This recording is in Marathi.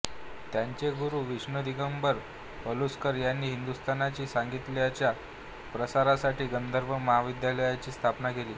त्यांचे गुरु विष्णू दिगंबर पलुसकर यांनी हिंदुस्थानी संगीताच्या प्रसारासाठी गांधर्व महाविद्यालयाची स्थापना केली